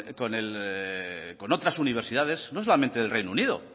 con otras universidades no solamente del reino unido